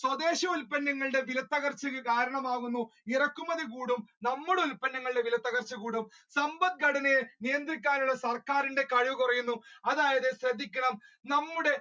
സ്വദേശി ഉത്പന്നങ്ങളുടെ വില തകർച്ചക്ക് കാരണമാകുന്നു ഇറക്കുമതി കൂടും നമ്മുടെ ഉത്പന്നങ്ങളുടെ വിലത്തകർച്ച കൂടും സമ്പത്ഘടനയെ നിയന്ദ്രിക്കാനുള്ള സർക്കാരിന്റെ കഴിവ് കുറയുന്നു. അതായത് ശ്രദ്ധിക്കുക നമ്മുടെ